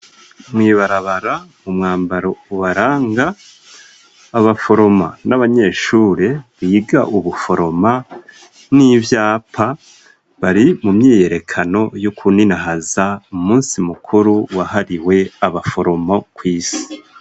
Mw'ibarabara, umwambaro ubaranga abaforoma n'abanyeshure biga ubuforoma n'ivyapa, bari mu myiyerekano yo kuninahaza umusi mukuru wahariwe abaforoma kw'isi.